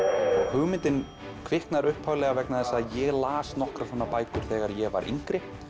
hugmyndin kviknar upphaflega vegna þess að ég las nokkrar svona bækur þegar ég var yngri